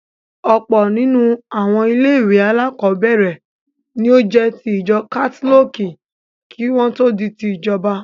Ọ̀pọ̀ nínú àwọn ilé-ìwé alákọ̀ọ́bẹ̀ẹ̀rẹ̀ ní ó jẹ́ ti ìjọ kátólìkì kí wọ́n tó di ti ìjọba.